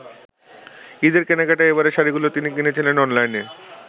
ঈদের কেনাকাটায় এবারে শাড়ীগুলো তিনি কিনেছেন অনলাইনে।